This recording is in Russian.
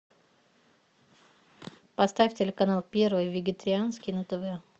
поставь телеканал первый вегетарианский на тв